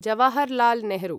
Jawaharlal Nehru